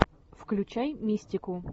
включай мистику